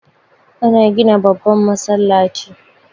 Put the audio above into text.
Ana gina babban masallaci